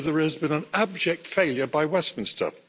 So there has been an abject failure by Westminster.